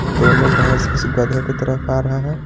दोनों भैंस इस गधे की तरफ आ रहा है।